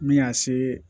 Min y'a se